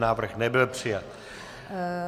Návrh nebyl přijat.